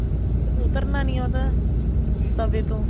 ਉਤਰਨਾ ਨੀ ਉਹ ਤਾਂ ਤਵੇ ਤੋਂ